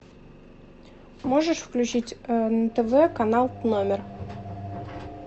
можешь включить на тв канал номер